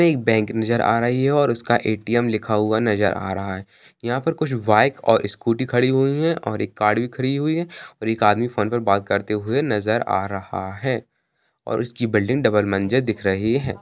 एक बैंक नजर आ रही है और उसका ए_टी_म लिखा हुआ नजर आ रहा है| यहाँ पे कुछ बाइक और स्कूटी खड़ी हुई है और एक गाड़ी खड़ी हुई है और एक आदमी फोन पर बात करते हुए नजर आ रहा है| और उसकी बिल्डिंग डबल मंजिल दिख रही है|